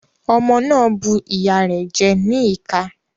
Ọmọ náà bu ìyá rẹ̀ jẹ ní ìka.